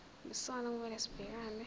yisona okumele sibhekane